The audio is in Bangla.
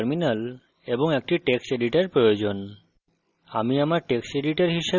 এইজন্য আপনার একটি terminal এবং একটি text editor প্রয়োজন